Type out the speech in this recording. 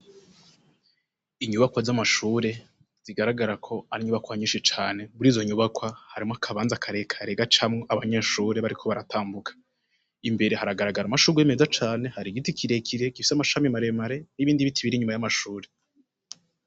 Inyubakwa z'amashure zigaragara ko ari inyubakwa nyinshi cane buri zo nyubakwa harimwo akabanza akareka rega camwe abanyeshure bariko baratambuka imbere haragaragara amashuruye meza cane hari igiti kirekire gifise amashami maremare n'ibindi bitibira inyuma y'amashure.